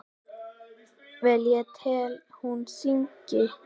Vel ég tel hún syngi.